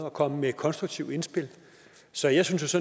og komme med konstruktive indspil så jeg synes